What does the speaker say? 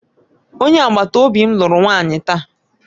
Onye agbata obi m lụrụ nwanyị taa